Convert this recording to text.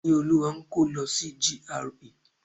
Ìníolúwa ń kó lọ sí GRA.